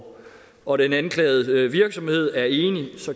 og den anklagede virksomhed er enig